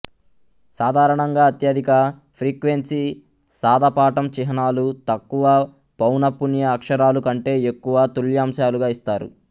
సాధారణంగా అత్యధిక ఫ్రీక్వెన్సీ సాదాపాఠం చిహ్నాలు తక్కువ పౌనఃపున్య అక్షరాలు కంటే ఎక్కువ తుల్యాంశాలుగా ఇస్తారు